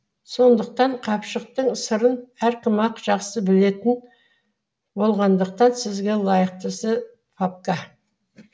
сондықтан қапшықтың сырын әркім ақ жақсы білетін болғандықтан сізге лайықтысы папка